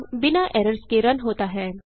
programme बिना errors के run होता है